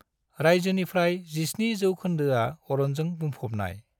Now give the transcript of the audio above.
रायजोनि फ्राय 70 जौखोन्दोआ अरनजों बुंफबनाय।